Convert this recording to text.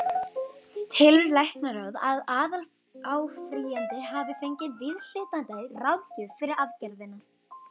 Telur læknaráð, að aðaláfrýjandi hafi fengið viðhlítandi ráðgjöf fyrir aðgerðina?